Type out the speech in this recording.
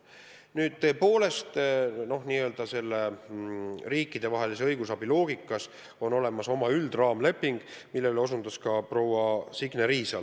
Nüüd, tõepoolest on riikidevahelise õigusabi loogika järgi olemas nn üldine raamleping, millele osutas ka proua Signe Riisalo.